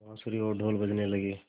बाँसुरी और ढ़ोल बजने लगे